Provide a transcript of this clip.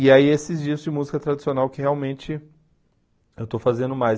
E aí esses discos de música tradicional que realmente eu estou fazendo mais.